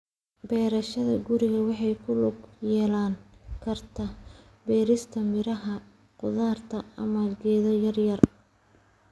Beerashada guriga waxay ku lug yeelan kartaa beerista miraha, khudaarta, ama geedo yaryar.